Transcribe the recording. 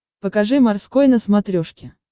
покажи морской на смотрешке